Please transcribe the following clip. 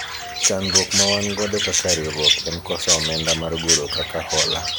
chandruok ma wan godo kaka riwruok en koso omenda mar golo kaka hola